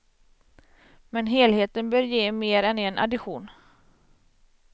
Men helheten bör ge mer än en addition.